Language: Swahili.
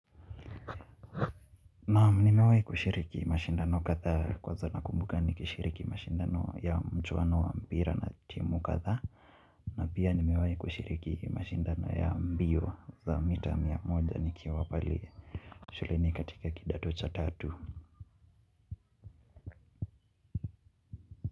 Naam nimewai kushiriki mashindano kadhaa kwanza nakumbuka nikishiriki mashindano ya michuano wa mpira na timu kadhaa na pia nimewai kushiriki mashindano ya mbio za mita mia moja nikiwa pale shuleni katika kidato cha tatu.